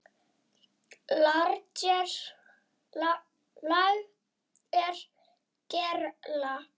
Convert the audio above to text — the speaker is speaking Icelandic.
LAGER GERLA